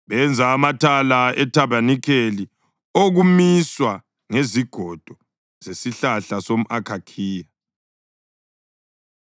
Benza amathala ethabanikeli okumiswa ngezigodo zesihlahla somʼakhakhiya.